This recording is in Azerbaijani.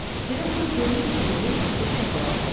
Direktor böyrü üstə yerə yıxılıb çapalandı.